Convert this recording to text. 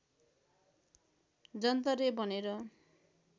जन्तरे भनेर